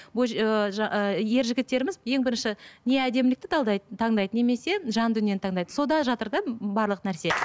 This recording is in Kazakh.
ержігіттеріміз ең бірінші не әдімілікті талдайды таңдайды немесе жан дүниені таңдайды жатыр да барлық нәрсе